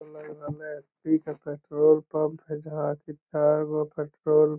लग रलय की के पेट्रोल पंप है जहाँ की चारगो पेट्रोल --